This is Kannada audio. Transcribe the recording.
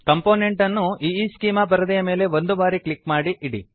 ಕಂಪೊನೆಂಟ್ ಅನ್ನು ಈಸ್ಚೆಮಾ ಪರದೆಯ ಮೇಲೆ ಒಂದು ಬಾರಿ ಕ್ಲಿಕ್ ಮಾಡಿ ಇಡಿ